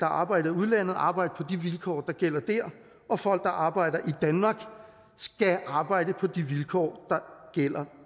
arbejder i udlandet arbejde på de vilkår der gælder dér og folk der arbejder i danmark skal arbejde på de vilkår der gælder